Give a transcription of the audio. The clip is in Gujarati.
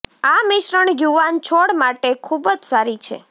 આ મિશ્રણ યુવાન છોડ માટે ખૂબ જ સારી છે